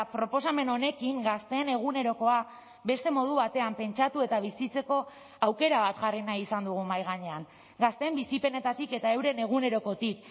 proposamen honekin gazteen egunerokoa beste modu batean pentsatu eta bizitzeko aukera bat jarri nahi izan dugu mahai gainean gazteen bizipenetatik eta euren egunerokotik